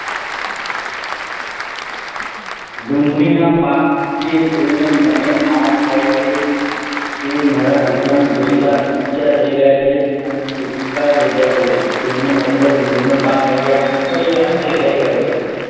ડુંગળીના પાકને જોઈને મને આનંદ થાય છે. તેમારા ગુથણ જેટલા ઉચ્ચ થઇ ગયા છે. અને સુતા થઇ ગયા છે. જેનો મતલબ ડુંગળીનો પાક તૈયાર તૈયાર થઈ ગયો છે.